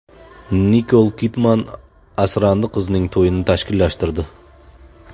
Nikol Kidman asrandi qizining to‘yini tashkillashtirdi.